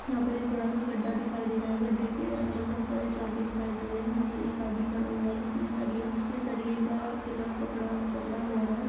यहाँ पर एक बड़ा सा गड्ढा दिखाई दे रहा हैं गड्ढे के अंदर बहोत सारे चौके दिखाई दे रहे हैं यहाँ पर एक आदमी खड़ा हुआ हैं जिसने सरिया इस सरिये का पिलर पकड़ा पकड़ा हुआ है।